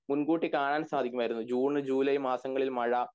മുൻകൂട്ടി കാണാൻ സാധിക്കുമായിരുന്നു ജൂൺ ജൂലൈ മാസങ്ങളിൽ മഴ